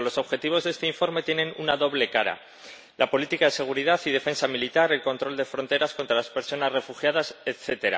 Pero los objetivos de este informe tienen una doble cara la política de seguridad y defensa militar, el control de fronteras contra las personas refugiadas, etc.